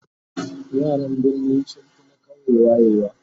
yaran birni sunfi na ƙauye wayewa